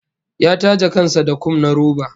Ya take kan sa da kum na roba